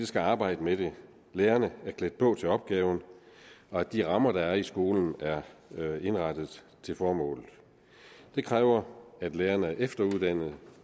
skal arbejde med det lærerne er klædt på til opgaven og at de rammer der er i skolen er indrettet til formålet det kræver at lærerne er efteruddannet